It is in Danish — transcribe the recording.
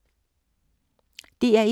DR1